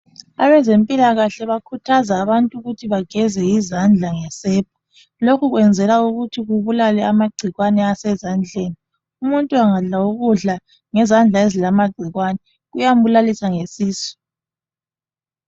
Abezempilakahle bakhuthaza abantu ukuthi bageze izandla ngesepa. Lokhu kwenzelwa ukuthi kubulale amagcikwane asezandleni, umuntu angadla ukudla ngezandla ezilamagcikwane kuyambulalisa ngesisu.